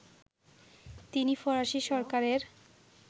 তিনি ফরাসি সরকারের